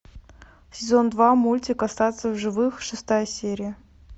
сезон два мультик остаться в живых шестая серия